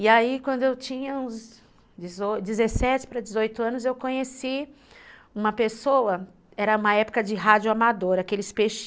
E aí, quando eu tinha uns dezoito, dezessete para dezoito anos, eu conheci uma pessoa, era uma época de rádio amadora, aqueles